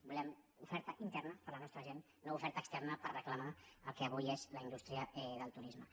volem oferta interna per a la nostra gent no oferta externa per reclamar el que avui és la indústria del turisme